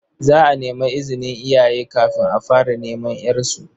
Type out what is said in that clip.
Za a nemi izinin iyaye kafin a fara neman ƴarsu.